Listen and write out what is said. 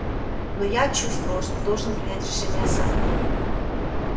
но я чувствовал что должен принять решение сам